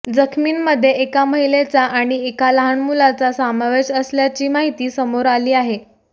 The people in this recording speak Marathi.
जखमींमध्ये एका महिलेचा आणि एका लहान मुलाचा समावेश असल्याची माहिती समोर आली आहे